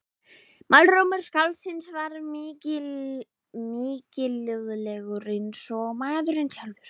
Málrómur skáldsins var mikilúðlegur eins og maðurinn sjálfur.